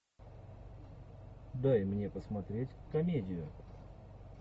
дай мне посмотреть комедию